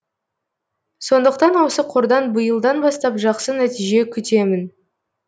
сондықтан осы қордан биылдан бастап жақсы нәтиже күтемін